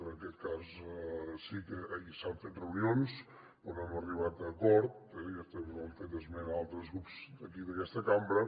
en aquest cas sí que s’han fet reunions però no hem arribat a acord també n’han fet esment altres grups d’aquí d’aquesta cambra